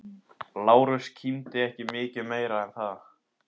Lárus kímdi en ekki mikið meira en það.